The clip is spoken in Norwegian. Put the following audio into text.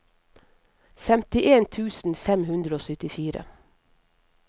femtien tusen fem hundre og syttifire